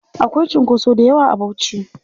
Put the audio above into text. Akwai cunkoso dayawa a Bauchi.